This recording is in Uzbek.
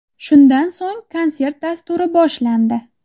Shundan so‘ng konsert dasturi boshlandi.